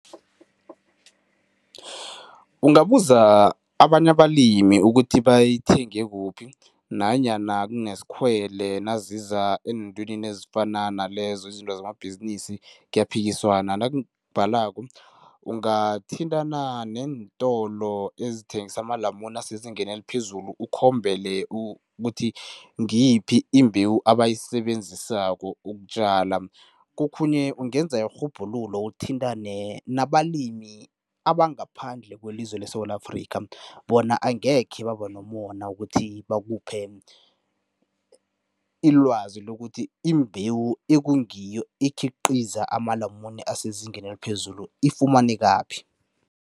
Ungabuza abanye abalimi ukuthi bayithenge kuphi nanyana kunesikhwele naziza eentwenini ezifana nalezo, izinto zamabhizinisi kuyaphikiswana nakubhalako ungathintana neentolo ezithengisa amalamune asezingeni eliphezulu ukhombele ukuthi ngiyiphi imbewu abayisebenzisako ukutjala. Kokhunye ungenza irhubhululo, uthintane nabalimi abangaphandle kwelizwe leSewula Afrika bona angekhe baba nomona wokuthi bakuphe ilwazi lokuthi imbewu ekungiyo, ekhiqiza amalamune asezingeni eliphezulu ifumanekaphi.